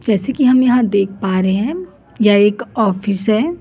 जैसे कि हम यहा देख पा रहे हैं यह एक ऑफिस है।